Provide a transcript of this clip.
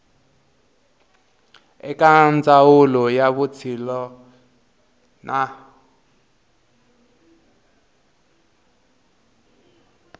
eka ndzawulo ya vutshila na